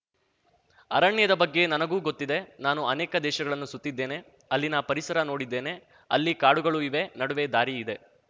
ಅರಣ್ಯದ ಬಗ್ಗೆ ನನಗೂ ಗೊತ್ತಿದೆ ನಾನು ಅನೇಕ ದೇಶಗಳನ್ನು ಸುತ್ತಿದ್ದೇನೆ ಅಲ್ಲಿನ ಪರಿಸರ ನೋಡಿದ್ದೇನೆ ಅಲ್ಲಿ ಕಾಡುಗಳು ಇವೆ ನಡುವೆ ದಾರಿ ಇದೆ